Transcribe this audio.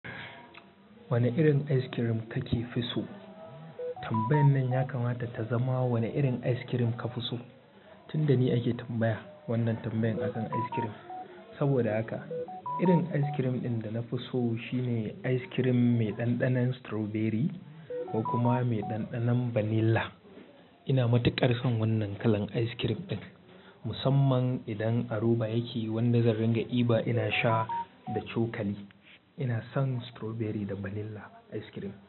Wane irin ice cream kakefi so? Tambayan nan ya kamata ta zama wane irin ice cream ka fi so. Tunda ni ake tambaya wannan tambayar akan ice cream. Saboda haka irin ice cream ɗin da na fi so shine ice cream mai ɗanɗanon strawberry ko kuma mai ɗanɗanon vanilla. Ina matuƙar son wannan kalan ice cream ɗin. Musamman idan a roba yake wanda zarringa i ba ina sha da cokali. Ina son strawberry da vanilla ice cream.